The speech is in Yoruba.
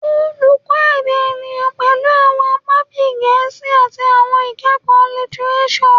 Oluko Eda Eniyan pẹlu awọn apa bii Gẹẹsi ati Awọn Ikẹkọ Litireso